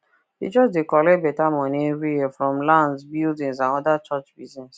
the church dey collect better money every year from lands buildings and other church biz